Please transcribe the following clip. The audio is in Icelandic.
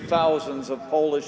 á þessum orðum hófust